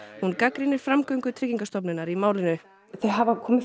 hún gagnrýnir framgöngu Tryggingastofnunar í málinu þau hafa komið